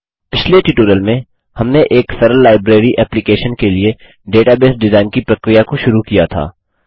पिछले ट्यूटोरियल में हमने एक सरल लाइब्रेरी एप्लिकैशन के लिए डेटाबेस डिजाइन की प्रक्रिया को शुरू किया था